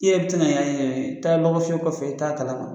I yɛrɛ tɛ na y'a ɲɛna taa lɔgɔfiyɛ kɔfɛ taa kala kɔnɔ